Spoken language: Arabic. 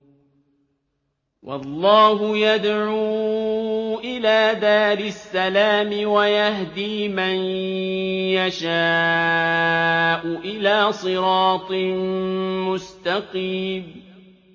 وَاللَّهُ يَدْعُو إِلَىٰ دَارِ السَّلَامِ وَيَهْدِي مَن يَشَاءُ إِلَىٰ صِرَاطٍ مُّسْتَقِيمٍ